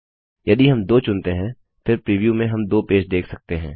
यदि हम 2 चुनते हैं फिर प्रीव्यू में हम दो पेज देख सकते हैं